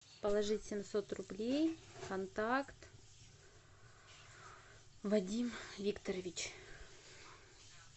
положить семьсот рублей контакт вадим викторович